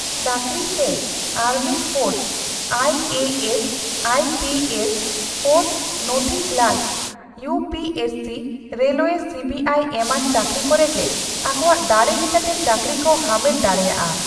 ᱪᱟᱠᱨᱤ ᱥᱮ army force IAS IPS air force navy clerk UPSC railway CBI ᱮᱢᱟᱱ ᱪᱟᱠᱨᱤ ᱠᱚᱨᱮ ᱜᱮ ᱟᱠᱚᱣᱟᱜ ᱫᱟᱲᱮ ᱞᱮᱠᱟᱛᱮ ᱪᱟᱠᱨᱤ ᱠᱚ ᱦᱟᱢᱮᱴ ᱫᱟᱲᱮᱭᱟᱜᱼᱟ ᱾